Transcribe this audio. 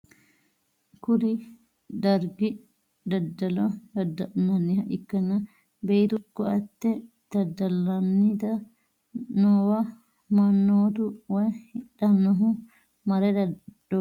kuni dargi daddalo dadda'linanniha ikkanna, beetu ko'atte dadda'lanni noowa mannotu woy hidhannohu mare doodhanni nooha ikkanna, beettuno ofolle leellishshanni no.